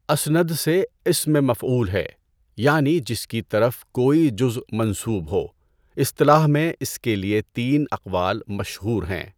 اَسْنَدَ سے اسمِ مفعول ہے یعنی جس کی طرف کوئی جزء منسوب ہو۔ اِصطلاح میں اِس کے لیے تین اقوال مشہور ہیں۔